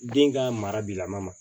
Den ka mara bi lama ma